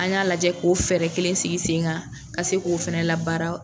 An y'a lajɛ k'o fɛɛrɛ kelen sigi sen kan ka se k'o fana labaara.